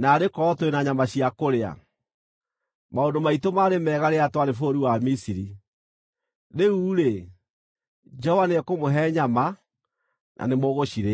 “Naarĩ korwo tũrĩ na nyama cia kũrĩa! Maũndũ maitũ maarĩ mega rĩrĩa twarĩ bũrũri wa Misiri!” Rĩu-rĩ, Jehova nĩekũmũhe nyama, na nĩmũgũcirĩa.